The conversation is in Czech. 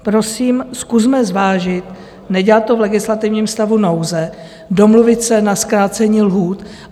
Prosím, zkusme zvážit, nedělat to v legislativním stavu nouze, domluvit se na zkrácení lhůt.